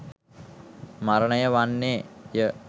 මරණය වන්නේය.